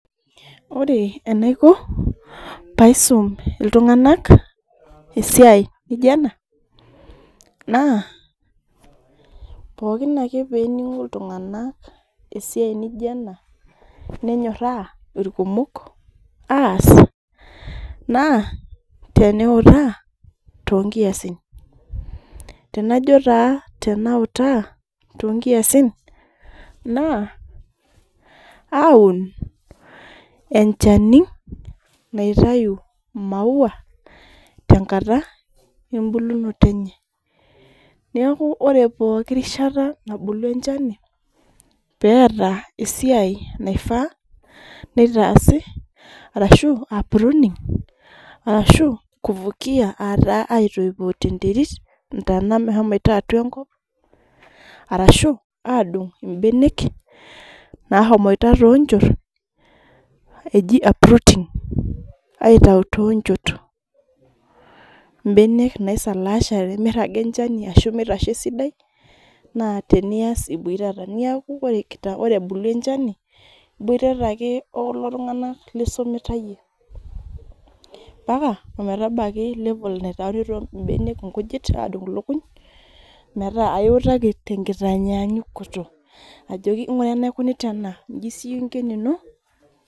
ore enaiko paisum iltungana esiai naija nena na, pookin ake peningu iltunganak esiai naijio ena nenyorra ilkumok as na teniuta tonkiasin na tenajo taa tenauta tonkiasin na aun enchani naitayu imauwa tenkata ebulunoto enye, niaku ore pooki rishata nabulu enchani, peeta esiai naifaa nitasi, arashu uproani ashu kuvukia, ata aoipoo tenterit, tena mehomoito atua enkop ashu, adung ibenek nahomoito tonchot eji uprooting ,aitayu tonchot ebenek naiseleshate, miraga enchani ashu miraga esidai, na tenias iboitata niaku ore ebulu enchani na ibotata olelo tungana lisumita iyie mpaka ometabaiki, level naitayuni ibenek inkujit adung inkukuny meeta iwutaki tenki taanyanyukoto, joki nngura enaikunita ena inji sie inko enino,